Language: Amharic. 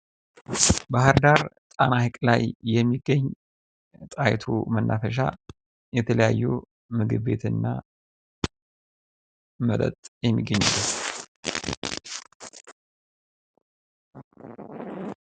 ባህርዳር ጣና ሀይቅ ላይ የሚገኝ ጠሀይቱ መናፈሻ የተለያዩ ምግብ ቤትና መጠጥ የሚገኝበት ነው።